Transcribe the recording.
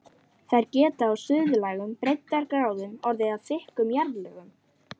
Þær geta á suðlægum breiddargráðum orðið að þykkum jarðlögum.